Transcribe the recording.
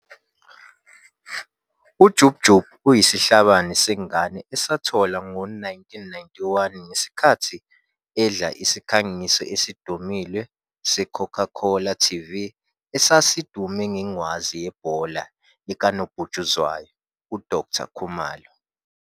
UJub Jub uyisihlabani sengane esatholwa ngo-1991 ngesikhathi edla isikhangiso esidumile seCoca Cola Tv esasidume ngengwazi yebhola likanobhutshuzwayo uDoctor Khumalo.